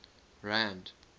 rand